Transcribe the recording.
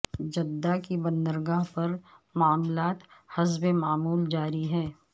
Jeddah کی بندرگاہ پر معاملات حسب معمول جاری ہیں